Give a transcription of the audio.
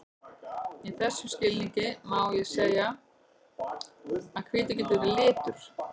Í þessum skilningi má því segja að hvítur geti verið litur.